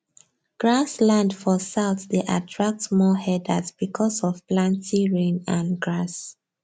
grass land for south dey attract more herders because of planty rain and grass